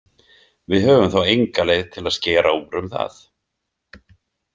Við höfum þá enga leið til að skera úr um það.